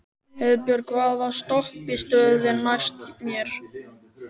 Heiðbjörg, hvaða stoppistöð er næst mér?